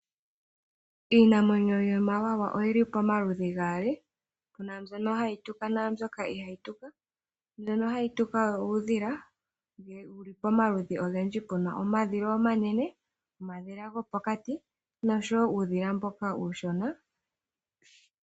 Iinamwenyo yomawawa oyili pamaludhi gaali puna mbyono hayi tuka naambyoka ihaa yi tuka, mbyono hayi tuka oyo uudhila wuli pamaludhi ogendji , puna omadhila omanene, omadhila gopokati oshowo uudhila mboka uushona.